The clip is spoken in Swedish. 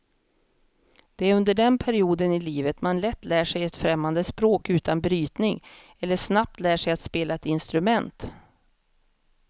Det är under den perioden i livet man lätt lär sig ett främmande språk utan brytning eller snabbt lär sig att spela ett instrument.